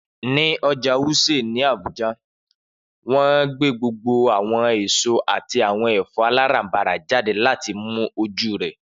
Ni Ọja Wuse ni Abuja, wọn gbe gbogbo awọn eso ati awọn ẹfọ alarabara jade lati mu oju rẹ.